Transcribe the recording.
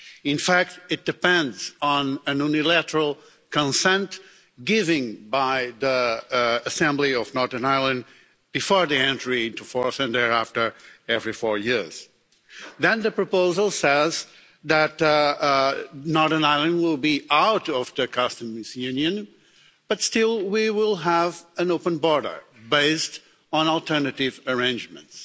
In fact, it depends on unilateral consent given by the assembly of Northern Ireland before the entry into force and thereafter every four years. Then the proposal says that Northern Ireland will be out of the customs union, but still, we will have an open border based on alternative arrangements.